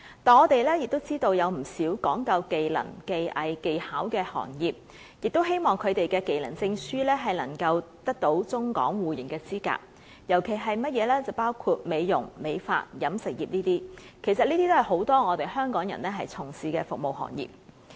但是，我們也知道，不少講究技能、技藝、技巧的行業，亦希望他們的技能證書得到中港互認的資格，尤其是美容、美髮、飲食業等，這些正正是很多香港人從事的服務行業。